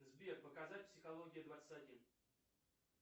сбер показать психология двадцать один